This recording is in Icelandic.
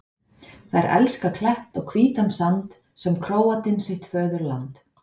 Þær elska klett og hvítan sand sem Króatinn sitt föðurland.